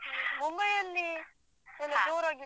Mumbai ಯಲ್ಲಿ ಎಲ್ಲ ಜೋರಾಗಿತ್ತು.